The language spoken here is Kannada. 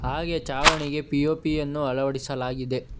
ಹಾಗೆ ಚಾವಣಿಗೆ ಪಿ_ಒ_ಪಿ ಯನ್ನು ಅಳವಡಿಸಲಾಗಿದೆ.